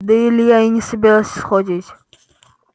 да илья и не собирался сходить